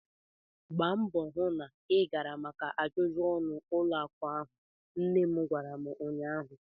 Gbaa mbọọ hụ na ị gara maka ajụjụ ọnụ ụlọ akụ ahụ! nne m gwara m ụnyaahụ.